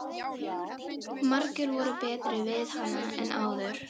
Margir voru betri við hana en áður.